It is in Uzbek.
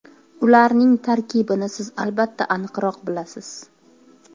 Ularning tarkibini siz albatta aniqroq bilasiz.